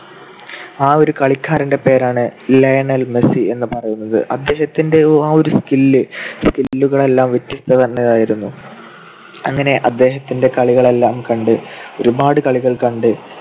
ആ ഒരു കളിക്കാരന്റെ പേരാണ് ലയണൽ മെസ്സി എന്ന് പറയുന്നത്. അദ്ദേഹത്തിന്റെ ആ ഒരു skill. skill കളെല്ലാം വ്യത്യസ്‌ത നിറഞ്ഞതായിരുന്നു. അങ്ങനെ അദ്ദേഹത്തിന്റെ കളികളെല്ലാം കണ്ട് ഒരുപാട് കളികൾ കണ്ട്